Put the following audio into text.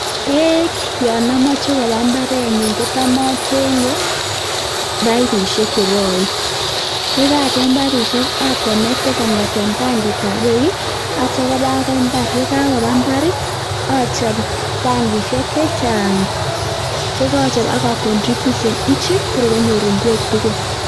Beek yon amoche kobaa mbarenyun kotam achengee paipisiek chekoen, yekaachenh paipisiek atuyee kongeten tangitab beek akoi imbaar achob tangisiek chechang, yekoochob akoroobchi agetugul Kotor konyor ingwek tugul